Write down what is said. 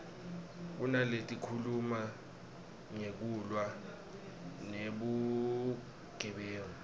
kunaletikhuluma ngekulwa nebugebengu